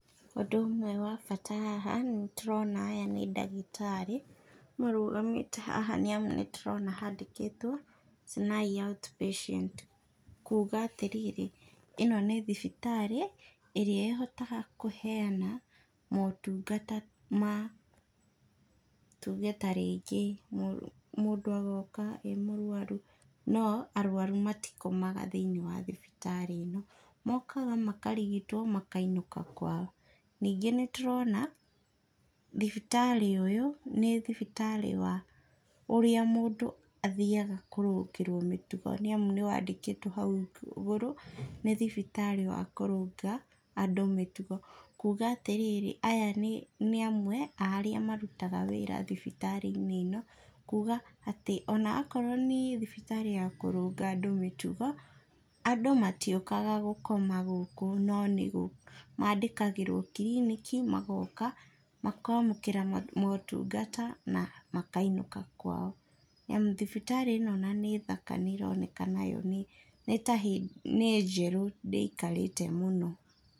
Ũndũ ũmwe wa bata haha, nĩ tũrona aya nĩ ndagĩtarĩ, marũgamĩte haha nĩamu nĩ tũrona handĩkĩtwo Sinai Outpatient kuuga atĩrĩrĩ, ĩno nĩ thibitarĩ ĩrĩa ĩhotaga kũheana motungata ma tuge tarĩngĩ mũndũ agoka e mũrwaru, no arwaru matikomaga thĩiniĩ wa thibitarĩ ĩno. Mokaga makarigitwo makainũka kwao. Ningĩ nĩ tũrona thibitarĩ ũyũ, nĩ thibitarĩ wa ũrĩa mũndũ athiaga kũrũngĩrwo mĩtugo nĩamu nĩwandĩkĩtwo hau igũrũ, nĩ thibitarĩ wa kũrũnga andũ mĩtugo. Kuuga atĩrĩrĩ, aya nĩ amwe a arĩa marutaga wĩra thibitarĩ-inĩ ĩno, kuuga atĩ ona akorwo nĩ thibitarĩ ya kũrũnga andũ mĩtugo, andũ matiũkaga gũkoma gũkũ no nĩmandĩkagĩrwo kiriniki, magooka, makaamũkĩra motungata na makainũka kwao. Nĩamu thibitarĩ ĩno ona nĩ thaka nĩ ĩroneka nayo nĩ , nĩ ta hĩndĩ, nĩ njerũ, ndĩikarĩte mũno.